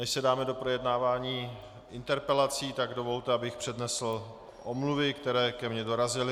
Než se dáme do projednávání interpelací, tak dovolte, abych přednesl omluvy, které ke mně dorazily.